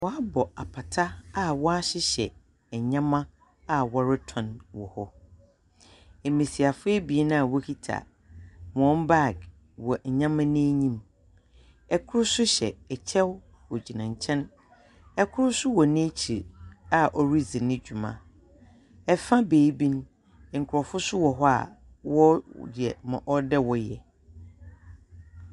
Wɔabɔ apata a wɔahyehyɛ nyeɛma a wɔrotɔn wɔ hɔ. Mbesiafo ebien a wokita hɔn bag wɔ nyeɛma no enyim. Kor nso hyɛ kyɛw ogyina nkyɛn. Kor nso wɔ n'akyir a oridzi ne dwuma. Fa beebi no, nkurɔfo nso wɔ hɔ a wɔreyɛ ma ɔwɔ dɛ wɔyɛ.